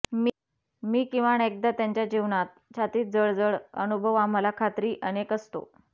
मी किमान एकदा त्यांच्या जीवनात छातीत जळजळ अनुभव आम्हाला खात्री अनेक असतो